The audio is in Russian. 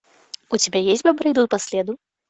у тебя есть бобры идут по следу